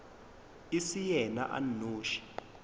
e se yena a nnoši